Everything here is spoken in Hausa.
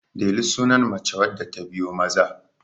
Delu sunan mace wadda ta biyo Maza